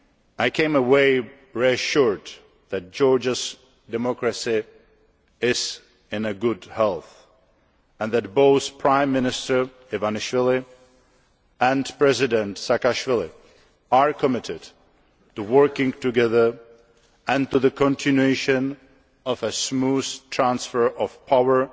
I came away reassured that Georgia's democracy is in good health, and that both Prime Minister Ivanishvili and President Saakashvili are committed to working together and to the continuation of a smooth transfer of power